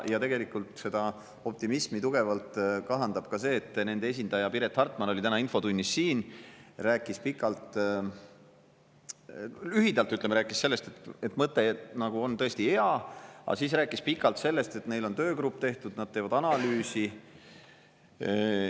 Ja tegelikult seda optimismi tugevalt kahandab ka see, et nende esindaja Piret Hartman oli täna siin infotunnis ja rääkis lühidalt sellest, et mõte nagu on tõesti hea, aga siis rääkis pikalt sellest, et neil on töögrupp tehtud, nad teevad analüüsi.